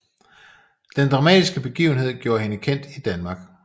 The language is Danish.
Den dramatiske begivenhed gjorde hende kendt i Danmark